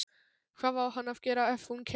Hvað á hann að gera ef hún kemur ekki?